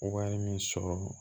min sɔrɔ